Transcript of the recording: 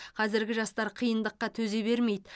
қазіргі жастар қиындыққа төзе бермейді